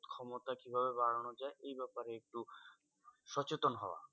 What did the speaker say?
ক্ষমতা কীভাবে বাড়ানো যায়? এই ব্যাপারে একটু সচেতন হওয়া।